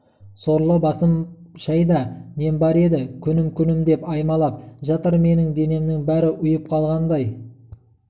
сорлы басым шайда нем бар еді күнім күнім деп аймалап жатыр менің денемнің бәрі ұйып қалғандай